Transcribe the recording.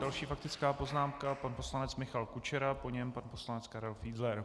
Další faktická poznámka - pan poslanec Michal Kučera, po něm pan poslanec Karel Fiedler.